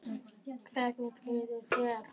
Hvernig líður þér?